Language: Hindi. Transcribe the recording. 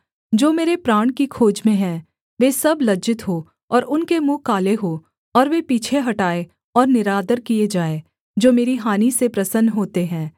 जो मेरे प्राण की खोज में हैं वे सब लज्जित हों और उनके मुँह काले हों और वे पीछे हटाए और निरादर किए जाएँ जो मेरी हानि से प्रसन्न होते हैं